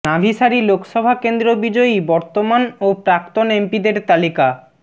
নাভিসারি লোকসভা কেন্দ্র বিজয়ী বর্তমান ও প্রাক্তন এমপিদের তালিকা